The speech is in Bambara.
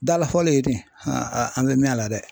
Dala fɔli ye ten an be mɛ a la dɛ